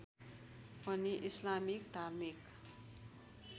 पनि इस्लामिक धार्मिक